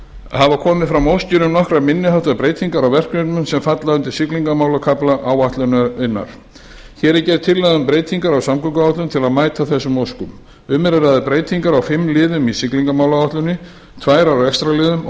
hafa komið fram óskir um nokkrar minniháttar breytingar á verkefnum sem falla undir siglingamálakafla áætlunarinnar hér er gerð tillaga um breytingar á samgönguáætlun til að mæta þessum óskum um er að ræða breytingar á fimm liðum í siglingamálaáætluninni tvær á rekstrarliðum og